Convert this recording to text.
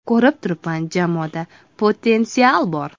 Ko‘rib turibman jamoada potensial bor.